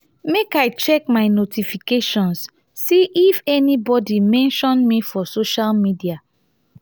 make i check my notifications see if anybodi mention me for social media.